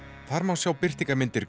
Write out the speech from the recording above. þar má sjá birtingarmyndir